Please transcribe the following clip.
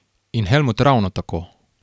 In Helmut ravno tako.